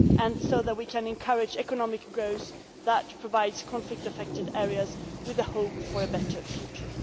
and so that we can encourage economic growth that provides conflict affected areas with hope for a better future.